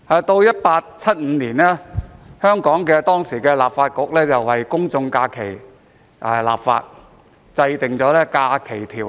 到了1875年，當時香港立法局為公眾假期立法，制定《假期條例》。